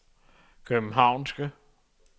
københavnske